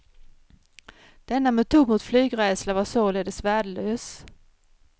Denna metod mot flygrädsla var således värdelös.